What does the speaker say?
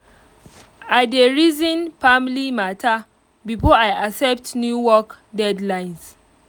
i dey reason family matter before i accept new work deadlines